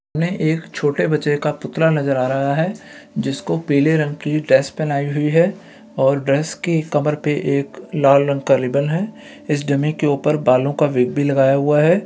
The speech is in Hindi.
हमें एक छोटे बच्चे का पुतला नज़र आ रहा है जिसको पीले रंग की ड्रेस पहनाई हुई है और ड्रेस के कमर पे एक लाल रंग का रिबन है इस डमी के ऊपर बालों का विग भी लगाया हुआ है।